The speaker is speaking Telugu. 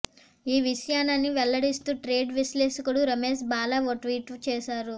ఈ విషయానని వెల్లడిస్తూ ట్రేడ్ విశ్లేషకుడు రమేష్ బాలా ఓ ట్వీట్ చేశారు